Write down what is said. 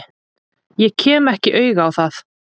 Ég kem ekki auga á það.